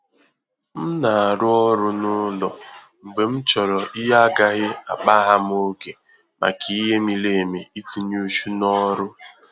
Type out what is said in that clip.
M na-arụ ọrụ n'ụlọ mgbe m chọrọ ihe agaghị akpa-gham ògè maka ìhè mịrị emi itinye uchu na ọrụ